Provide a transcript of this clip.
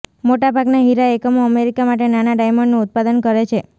મોટાભાગના હીરા એકમો અમેરિકા માટે નાના ડાયમંડનું ઉત્પાદન કરે છે